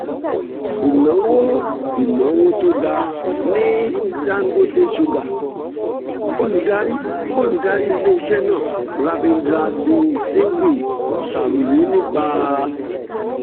ìnáwó ìnáwó tó ga ní dangote sugar: olùdarí olùdarí ilé-iṣẹ́ náà ravindra singh singhvi ṣàròyé nípa